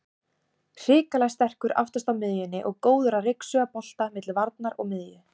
Hrikalega sterkur aftast á miðjunni og góður að ryksuga bolta milli varnar og miðju.